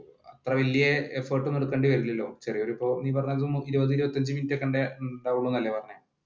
അത്ര വല്യ ഒന്നും എടുക്കേണ്ടി വരില്ലലോ ചെറിയ ഒരു ഇപ്പോ ഇരുപതു ഇരുപത്തിയഞ്ചു മിനിറ്റ് ഒക്കെ ഉണ്ടാകൂളു എന്നല്ലേ പറഞ്ഞെ,